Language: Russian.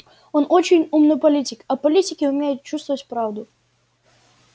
он очень умный политик а политики умеют чувствовать правду